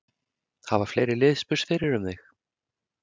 Hafa fleiri lið spurst fyrir um þig?